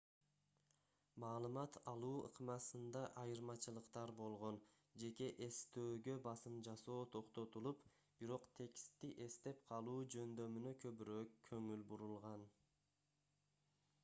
маалымат алуу ыкмасында айырмачылыктар болгон жеке эстөөгө басым жасоо токтотулуп бирок текстти эстеп калуу жөндөмүнө көбүрөөк көңүл бурулган